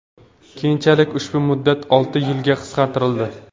Keyinchalik ushbu muddat olti yilga qisqartirildi.